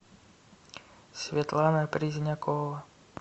светлана презнякова